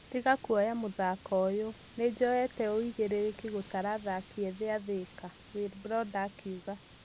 "Tiga kũoya mũthako ũyo , nĩjoyete ũigĩrĩrĩki gũtara athaki ethĩ a Thika" wilbroda akiuga